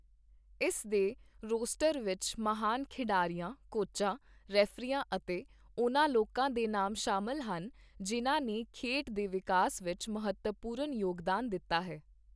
ਇਸ ਦੇ ਰੋਸਟਰ ਵਿੱਚ ਮਹਾਨ ਖਿਡਾਰੀਆਂ, ਕੋਚਾਂ, ਰੈਫ਼ਰੀਆਂ ਅਤੇ ਉਹਨਾਂ ਲੋਕਾਂ ਦੇ ਨਾਮ ਸ਼ਾਮਿਲ ਹਨ, ਜਿਨ੍ਹਾਂ ਨੇ ਖੇਡ ਦੇ ਵਿਕਾਸ ਵਿੱਚ ਮਹੱਤਵਪੂਰਨ ਯੋਗਦਾਨ ਦਿੱਤਾ ਹੈ।